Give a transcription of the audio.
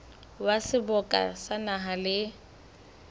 wa seboka sa naha le